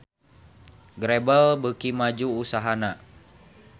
Grebel beuki maju usahana